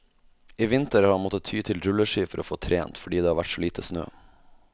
I vinter har han måttet ty til rulleski for å få trent, fordi det har vært så lite snø.